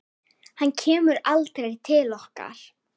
Hann kemur aldrei til okkar.